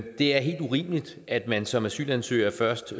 det er helt urimeligt at man som asylansøger først